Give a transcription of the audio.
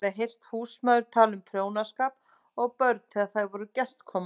Hún hafði heyrt húsmæður tala um prjónaskap og börn þegar þær voru gestkomandi.